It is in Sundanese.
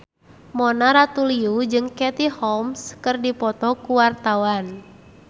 Mona Ratuliu jeung Katie Holmes keur dipoto ku wartawan